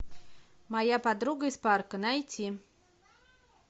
моя подруга из парка найти